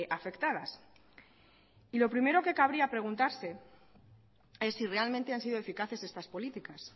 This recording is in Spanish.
afectadas y lo primero que cabría preguntarse es si realmente han sido eficaces estas políticas